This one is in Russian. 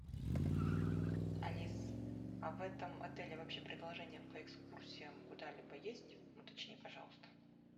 алис а в этом отеле вообще предложения по экскурсиям куда либо есть уточни пожалуйста